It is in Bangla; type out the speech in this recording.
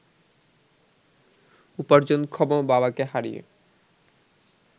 উপার্জনক্ষম বাবাকে হারিয়ে